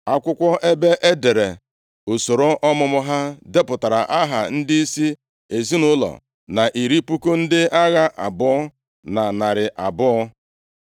Akwụkwọ ebe e dere usoro ọmụmụ ha depụtara aha ndịisi ezinaụlọ, na iri puku ndị agha abụọ na narị abụọ (20,200).